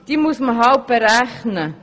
Diese muss man halt berechnen.